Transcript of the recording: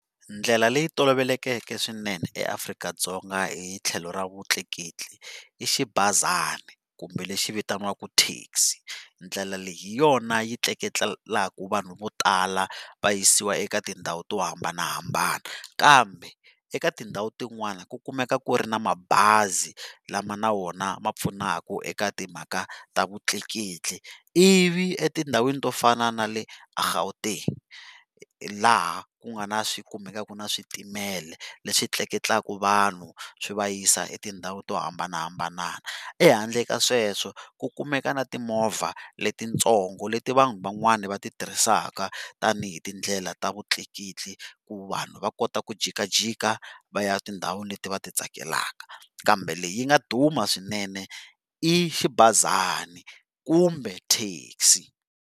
Ndlela leyi tolovelekeke swinene eAfrika-Dzonga hi tlhelo ra vutleketli i xibazana kumbe lexi vitaniwaka taxi ndlela leyi hi yona yi tleketlelaku vanhu vo tala va yisiwa eka tindhawu to hambanahambana kambe eka tindhawu tin'wana ku meka ku ri na mabazi lama na wona ma pfunaka eka timhaka ta vutleketli ivi etindhawini to fana na le Gauteng laha kungana swikumekaka na switimela leswi tleketlaka vanhu swi va yisa etindhawu to hambanahambana ehandle ka sweswo kukumeka na timovha letitsongo leti vanhu van'wani va ti tirhisaka tanihi tindlela ta vutleketli ku vanhu vakota ku jikajika va ya tindhawu leti vati tsakelaka kambe leyi yi nga duma swinene i xibazani kumbe taxi.